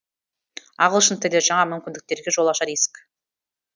ағылшын тілі жаңа мүмкіндіктерге жол ашар есік